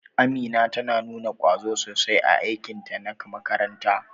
Amina ta nuna kwazo sosai a aikinta na makaranta.